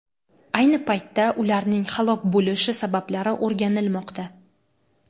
Ayni paytda ularning halok bo‘lishi sabablari o‘rganilmoqda.